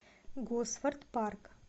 госфорд парк